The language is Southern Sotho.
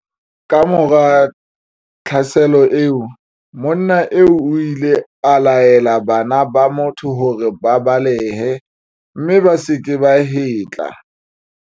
Kamora tlhaselo eo, monna eo o ile a laela bana ba motho hore ba balehe mme ba se ke ba hetla.